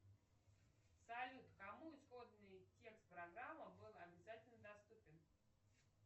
салют кому исходный текст программы был обязательно доступен